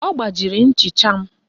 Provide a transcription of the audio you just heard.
Ọ gbajiri nchịcha m